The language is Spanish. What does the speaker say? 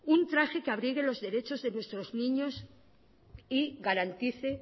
un traje que abrigue los derechos de nuestros niños y garantice